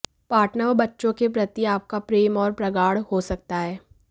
partner व बच्चों के प्रति आपका प्रेम और प्रगाढ़ हो सकता है